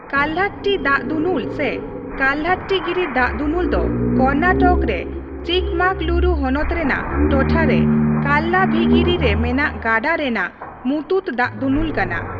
ᱠᱟᱞᱦᱟᱴᱴᱤ ᱫᱟᱜᱫᱩᱱᱩᱞ ᱥᱮ ᱠᱟᱞᱦᱟᱴᱴᱤᱜᱤᱨᱤ ᱫᱟᱜᱫᱩᱱᱩᱞ ᱫᱚ ᱠᱚᱨᱱᱟᱴᱚᱠ ᱨᱮ ᱪᱤᱠᱢᱢᱟᱸᱜᱽᱞᱩᱨᱩ ᱦᱚᱱᱚᱛ ᱨᱮᱱᱟᱜ ᱴᱚᱴᱷᱟ ᱨᱮ ᱠᱟᱞᱞᱟᱛᱷᱤᱜᱤᱨᱤ ᱨᱮ ᱢᱮᱱᱟᱜ ᱜᱟᱰᱟ ᱨᱮᱱᱟᱜ ᱢᱩᱛᱩᱛ ᱫᱟᱜᱫᱩᱱᱩᱞ ᱠᱟᱱᱟ ᱾